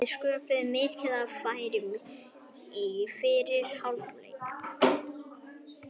Við sköpuðum mikið af færum í fyrri hálfleik.